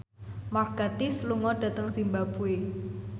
Mark Gatiss lunga dhateng zimbabwe